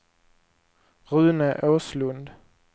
Rune Åslund